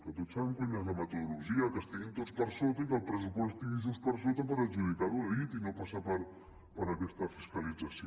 que tots sabem quina és la metodologia que estiguin tots per sota i que el pressupost estigui just per sota per adjudicar ho a dit i no passar per aquesta fiscalització